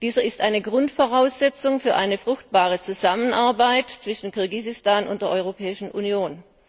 Dieser ist eine Grundvoraussetzung für eine fruchtbare Zusammenarbeit zwischen Kirgisistan und der Europäischen Union.